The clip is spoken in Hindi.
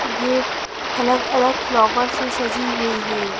ये अलग अलग फ्लावर से सजी हुई है।